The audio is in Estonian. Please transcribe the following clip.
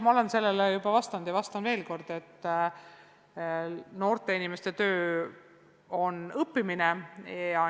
Ma olen sellele juba vastanud ja vastan veel kord, et noorte inimeste töö on õppimine.